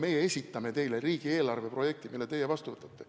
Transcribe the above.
Meie esitame teile riigieelarve projekti, teie võtate seaduse vastu.